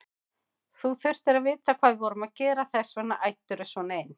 Þú þurftir að vita hvað við vorum að gera, þess vegna æddirðu svona inn.